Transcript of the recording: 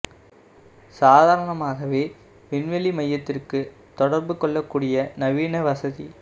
சாதாரணமாகவே விண்வெளி மையத்திற்கு தொடர்பு கொள்ளக் கூடிய நவீன வசதி